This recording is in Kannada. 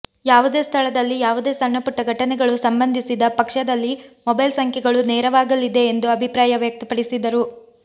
ಯಾವುದೇ ಸ್ಥಳದಲ್ಲಿ ಯಾವುದೇ ಸಣ್ಣಪುಟ್ಟ ಘಟನೆಗಳು ಸಂಬಂಧಿಸಿದ ಪಕ್ಷದಲ್ಲಿ ಮೊಬೈಲ್ ಸಂಖ್ಯೆಗಳು ನೆರವಾಗಲಿದೆ ಎಂದು ಅಭಿಪ್ರಾಯ ವ್ಯಕ್ತಪಡಿಸಿದರು